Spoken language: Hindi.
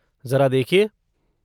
जरा देखिए।